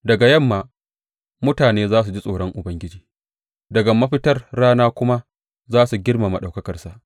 Daga yamma, mutane za su ji tsoron Ubangiji, daga mafitar rana kuma, za su girmama ɗaukakarsa.